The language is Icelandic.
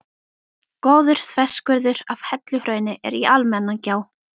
Góður þverskurður af helluhrauni er í Almannagjá.